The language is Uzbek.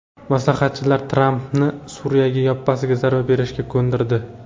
Maslahatchilar Trampni Suriyaga yoppasiga zarba berishga ko‘ndirdi.